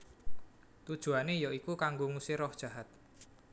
Tujuané ya iku kanggo ngusir roh jahat